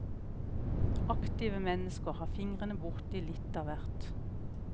Aktive mennesker har fingrene borti litt av hvert.